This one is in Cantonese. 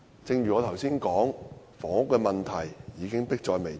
正如我剛才所說，房屋問題已經迫在眉睫。